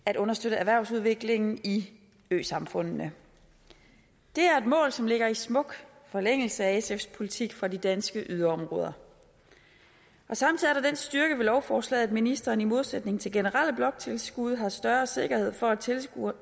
at understøtte erhvervsudviklingen i øsamfundene det er et mål som ligger i smuk forlængelse af sfs politik for de danske yderområder samtidig er der den styrke ved lovforslaget at ministeren i modsætning til generelle bloktilskud har større sikkerhed for at tilskuddene